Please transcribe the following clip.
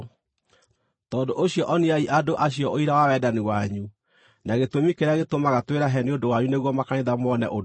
Tondũ ũcio oniai andũ acio ũira wa wendani wanyu, na gĩtũmi kĩrĩa gĩtũmaga twĩrahe nĩ ũndũ wanyu nĩguo makanitha mone ũndũ ũcio.